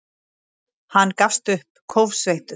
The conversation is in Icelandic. Hann gafst upp, kófsveittur.